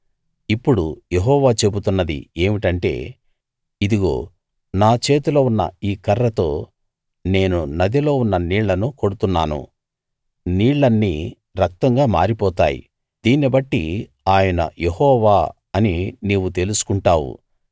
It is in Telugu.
ఇప్పుడు యెహోవా చెబుతున్నది ఏమిటంటే ఇదిగో నా చేతిలో ఉన్న ఈ కర్రతో నేను నదిలో ఉన్న నీళ్ళను కొడుతున్నాను నీళ్లన్నీ రక్తంగా మారిపోతాయి దీన్ని బట్టి ఆయన యెహోవా అని నీవు తెలుసుకుంటావు